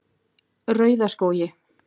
Rauðaskógi